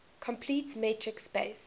complete metric space